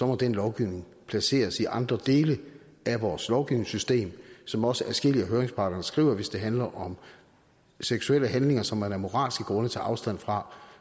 må den lovgivning placeres i andre dele af vores lovgivningssystem som også adskillige af høringsparterne skriver hvis det handler om seksuelle handlinger som man af moralske grunde tager afstand fra